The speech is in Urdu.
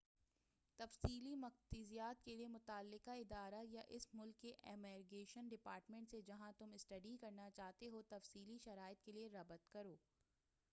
تفصیلی مقتضیات کے لئے متعلقہ ادارہ یا اس ملک کے امیگریشن ڈپارٹمنٹ سے جہاں تم اسٹڈی کرنا چاہتے ہو تفصیلی شرائط کے لئے ربط کرو